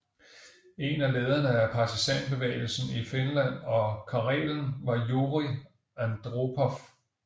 En af lederne af partisanbevægelsen i Finland og Karelen var Jurij Andropov